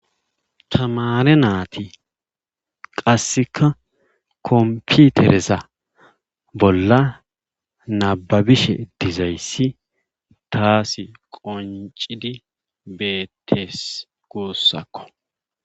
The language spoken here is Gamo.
tamare naati qasseka komputereza bolla nababishe dizayssi taasi qoncidi beettes guussakko